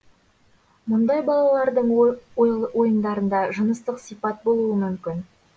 мұндай балалардың ойындарында жыныстық сипат болуы мүмкін